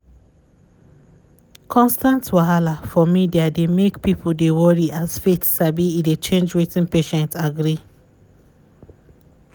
constant wahala for media dey make people dey worry as faith sabi e dey change wetin patient agree.